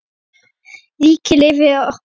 Ríkið lifir okkur öll.